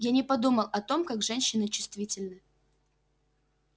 я не подумал о том как женщины чувствительны